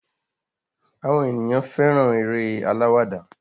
Àwọn ènìyàn fẹ́ràn eré alawada.